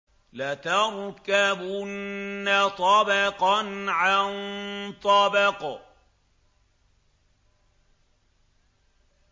لَتَرْكَبُنَّ طَبَقًا عَن طَبَقٍ